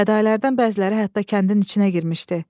Fədalərdən bəziləri hətta kəndin içinə girmişdi.